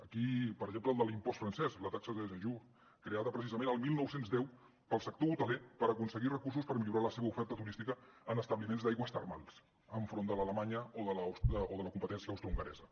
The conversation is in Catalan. aquí per exemple el de l’impost francès la taxe de séjour creada precisament el dinou deu pel sector hoteler per aconseguir recursos per millorar la seva oferta turística en establiments d’aigües termals enfront de l’alemanya o de la competència austrohongaresa